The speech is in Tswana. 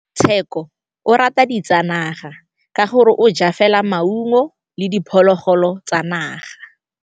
Tshekô o rata ditsanaga ka gore o ja fela maungo le diphologolo tsa naga.